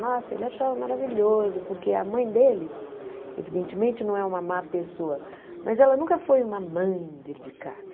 Nossa, ele achava maravilhoso, porque a mãe dele, evidentemente não é uma má pessoa, mas ela nunca foi uma mãe dedicada.